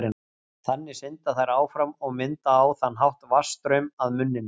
Þannig synda þær áfram og mynda á þann hátt vatnsstraum að munninum.